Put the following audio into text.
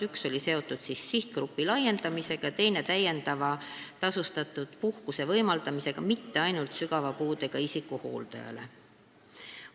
Üks oli seotud sihtgrupi laiendamisega ja teine täiendava tasustatud puhkuse võimaldamisega mitte ainult sügava puudega inimese hooldajale.